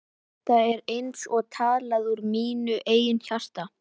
Þetta er eins og talað úr mínu eigin hjarta.